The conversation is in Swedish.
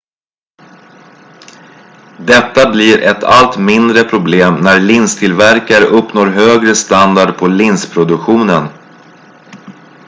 detta blir ett allt mindre problem när linstillverkare uppnår högre standard på linsproduktionen